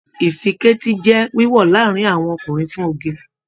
Ìfíketí n jẹ wíwọ láàrin àwọn ọkùnrin fún oge.